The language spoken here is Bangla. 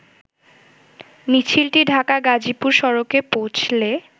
মিছিলটি ঢাকা-গাজীপুর সড়কে পেীঁছলে